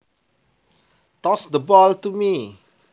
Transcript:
Toss the ball to me